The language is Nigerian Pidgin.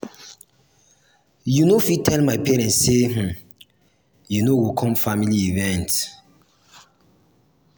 you no fit tell my parents sey um you no um go com family event.